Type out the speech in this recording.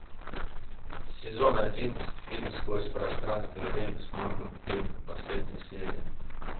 сезон одиннадцать фильм сквозь пространство и время с морганом фрименом последняя серия